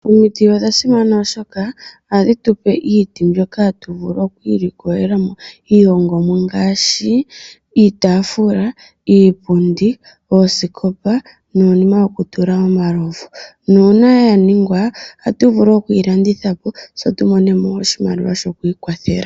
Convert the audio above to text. Omiti odha simana oshoma ohadhi tu pe iiti mbyoka hatu vulu oku ilikolela mo iihongomwa ngaashi iitafula, iipundi, oosikopa nuunima wokutula omalovu. Nuuna ya ningwa, ohagu vulu oku yi landitha po se tu mone mo oshimaliwa shoku ikwathela.